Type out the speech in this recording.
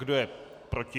Kdo je proti?